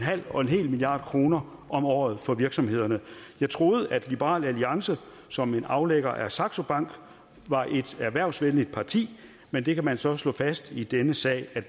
milliard kroner om året for virksomhederne jeg troede at liberal alliance som en aflægger af saxo bank var et erhvervsvenligt parti men det kan man så slå fast i denne sal at